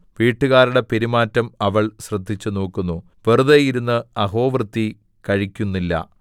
വീട്ടുകാരുടെ പെരുമാറ്റം അവൾ ശ്രദ്ധിച്ചുനോക്കുന്നു വെറുതെ ഇരുന്നു അഹോവൃത്തി കഴിക്കുന്നില്ല